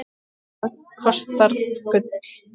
Hvað kostar gull?